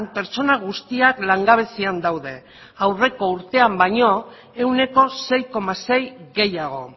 pertsona guztiak langabezian daude aurreko urtean baino ehuneko sei koma sei gehiago